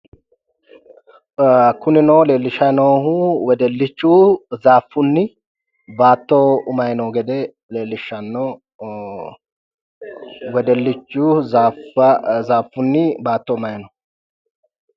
Kunino leelishayi noohu wedellichu zaaffunni baatto umayi noo gede ee wedellichu zaaffunni baatto umayi no.